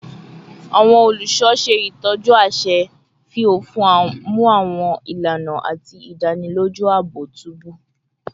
Awọn oluṣọ ṣe itọju aṣẹ, fi ofin mu awọn ilana, ati idaniloju aabo tubu